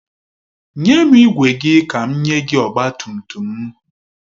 Nye m igwe gị ka m nye gị ọgbatumtum m.